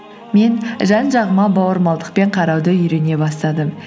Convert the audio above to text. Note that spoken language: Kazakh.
мен жан жағыма бауырмалдықпен қарауды үйрене бастадым